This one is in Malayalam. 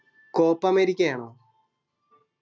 copa അമേരിക്ക ആണോ